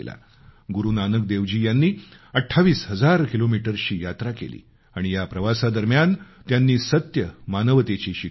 गुरु नानक देवजी यांनी 28 हजार किलोमीटर्सची यात्रा केली आणि या प्रवासादरम्यान त्यांनी सत्य मानवतेची शिकवण दिली